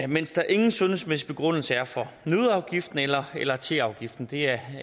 mens der ingen sundhedsmæssig begrundelse er for nøddeafgiften eller eller teafgiften det er